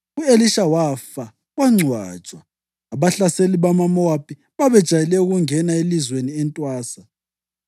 U-Elisha wafa wangcwatshwa. Abahlaseli bamaMowabi babejayele ukungena elizweni entwasa.